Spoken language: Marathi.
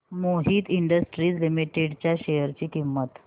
मोहित इंडस्ट्रीज लिमिटेड च्या शेअर ची किंमत